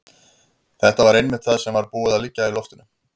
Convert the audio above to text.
Þetta var einmitt það sem var búið að liggja í loftinu.